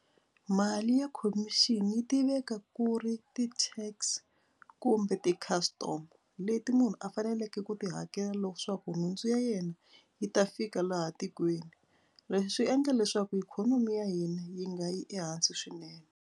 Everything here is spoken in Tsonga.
Mali ya khomixini yi tiveka ku ri ti-tax kumbe ti-custom leti munhu a faneleke ku ti hakela leswaku nhundzu ya yena yi ta fika laha tikweni. Leswi endla leswaku ikhonomi ya hina yi nga yi ehansi swinene.